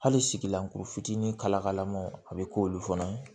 Hali sigilankuru fitinin kalama a bɛ k'olu fana ye